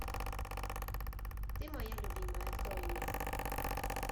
ты моя любимая открой мне